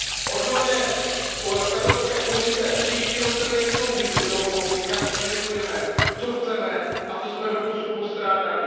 Od nové Evropské komise příští rok chceme jasnou vizi toho, kam směřujeme, co chceme a co jsme doposud postrádali.